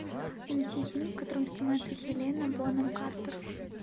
найди фильм в котором снимается хелена бонем картер